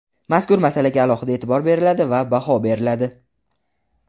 mazkur masalaga alohida e’tibor beriladi va baho beriladi.